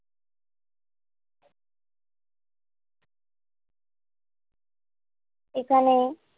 এখানে।